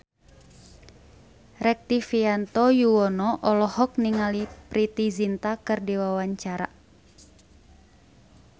Rektivianto Yoewono olohok ningali Preity Zinta keur diwawancara